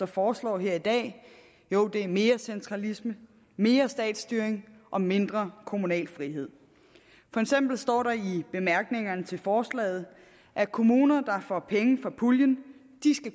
foreslår her i dag jo det er mere centralisme mere statsstyring og mindre kommunal frihed for eksempel står der i bemærkningerne til forslaget at kommuner der får penge fra puljen